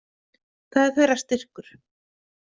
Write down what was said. Það er þeirra styrkur.